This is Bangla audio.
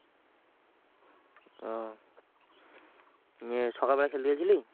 ওহ ইয়ে সকালবেলা খেলতে গেছিলি?